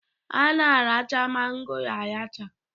A na-aracha mangoro aracha